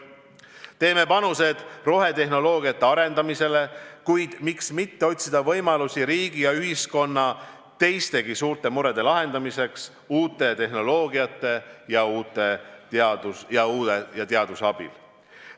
Teeme panused rohetehnoloogia arendamisele, kuid miks mitte otsida võimalusi riigi ja ühiskonna teistegi suurte murede lahendamiseks uue tehnoloogia ja teaduse abil.